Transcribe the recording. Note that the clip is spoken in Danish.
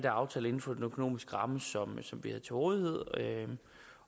aftalt inden for den økonomiske ramme som vi havde til rådighed